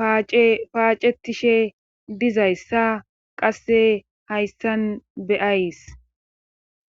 paacetishe dizayssa qasse hayssan beyays.